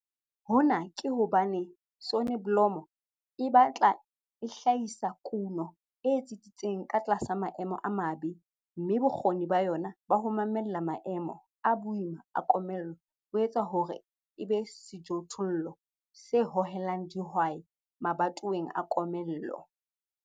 Hona ke hobane soneblomo e batla e hlahisa kuno e tsitsitseng tlasa maemo a mabe, mme bokgoni ba yona ba ho mamella maemo a boima a komello bo etsa hore e be sejothollo se hohelang dihwai mabatoweng a komello.